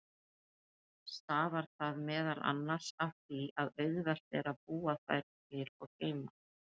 Stafar það meðal annars af því að auðvelt er að búa þær til og geyma.